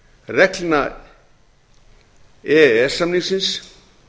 reglna e e s samningsins